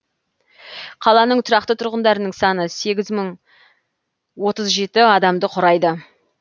қаланың тұрақты тұрғындарының саны сегіз мың отыз жеті адамды құрайды